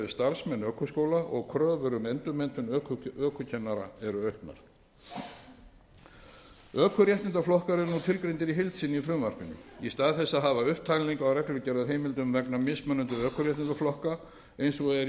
starfsmenn ökuskóla og kröfur um endurmenntun ökukennara eru auknar ökuréttindaflokkar eru nú tilgreindir í heild sinni í frumvarpinu í stað þess að hafa upptalningu á reglugerðarheimildum vegna mismunandi ökuréttindaflokka eins og er